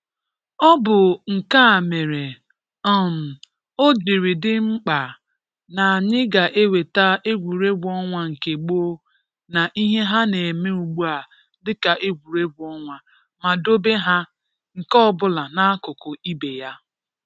Ọ bụ nke a mere um o jiri dị mkpa na anyị ga eweta egwuregwu ọnwa nke gboo na ihe ha na-eme ugbua dịka egwuregwu ọnwa ma dobe ha nke ọbụla n’akụkụ ibe ya